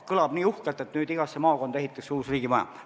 Kõlab nii uhkelt, et igasse maakonda ehitatakse uus riigimaja.